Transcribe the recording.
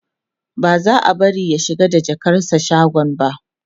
ba za'a bari ya shiga da jakarsa shagon ba